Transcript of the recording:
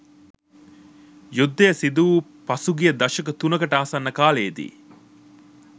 යුද්ධය සිදුවූ පසුගිය දශක තුනකට ආසන්න කාලයේදී